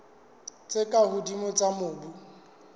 tse ka hodimo tsa mobu